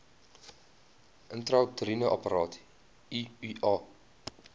intrauteriene apparaat iua